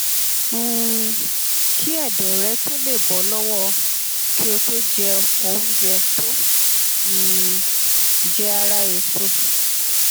um kí ẹdọ rẹ tó lè bọ lọwọ kí o tó jẹ oúnjẹ tó um jẹ ara èso